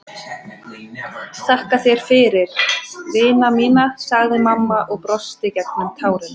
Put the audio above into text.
Þakka þér fyrir, vina mín, sagði mamma og brosti gegnum tárin.